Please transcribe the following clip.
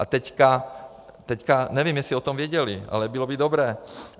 A teď, nevím, jestli o tom věděli, ale bylo by dobré.